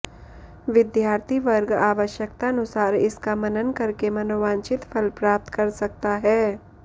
विद्यार्थीवर्ग आवश्यकतानुसार इसका मनन करके मनोवांछित फल प्राप्त कर सकता है